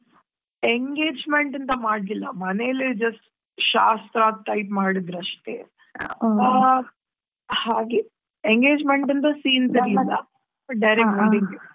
Engagement ಅಂತಾ ಮಾಡ್ಲಿಲ್ಲಾ ಮನೆಯಲ್ಲೇ just ಶಾಸ್ತ್ರ type ಮಾಡಿದ್ರು ಅಷ್ಟೇ. ಆ ಹಾಗೆ engagement ಅಂತಾ scenes ಇರ್ಲಿಲ್ಲಾ direct ಮದುವೆ.